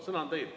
Sõna on teil.